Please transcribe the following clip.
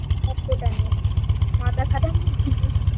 অংকটা নিয়ে মাথা খাটানোর জিনিস